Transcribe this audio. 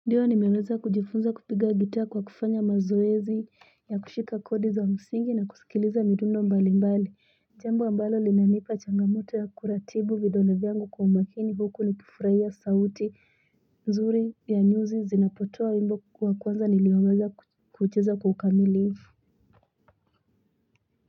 Ndiyo nimeweza kujifunza kupiga gita kwa kufanya mazoezi ya kushika kodi za msingi na kusikiliza midundo mbali mbali jambo ambalo linanipa changamoto ya kuratibu vidole vyangu kwa umakini huku nikifurahia sauti nzuri ya nyuzi zinapotoa wimbo kwa kwanza niliwaweza kucheza kwa ukamilifu.